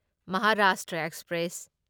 Maharashtra express